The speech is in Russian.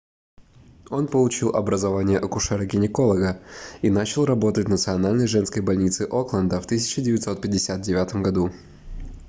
он получил образование акушера-гинеколога и начал работать в национальной женской больнице окленда в 1959 году